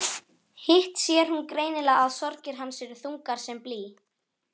Hitt sér hún greinilega að sorgir hans eru þungar sem blý.